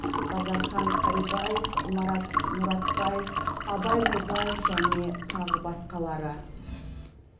базархан карибаев марат мұратбаев абай нұрбаев және тағы басқалары